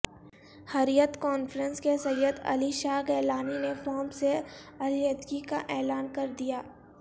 حریت conference کے سید علی شاہ گیلانی نے forum سے علیحدگی کا اعلان کردیا